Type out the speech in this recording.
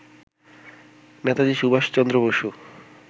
Netaji Subhas Chandra Basu